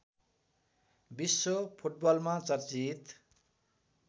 विश्व फुटबलमा चर्चित